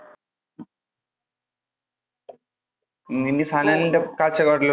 ഇനി സനലിന്‍ടെ കാഴ്ചപ്പാടിൽ